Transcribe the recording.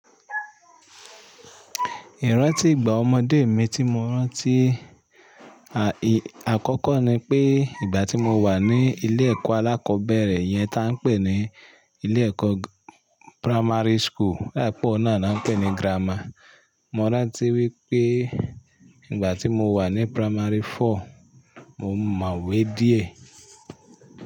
Ìrántí ìgbà ọmọdé mi tí mo rántí, à, ì, àkọ́kọ́ ni pé ìgbà tí mo wà ní ilé ẹ̀kọ́ alákọ̀ọ́bẹ̀rẹ̀ yẹn ta ń pè ní ilé ẹ̀kọ́ primary school, o dape oun náà ni won npé ní grammar. Mo rántí wípé ìgbà tí mo wà ní primary four, mo mọ̀wé díẹ̀.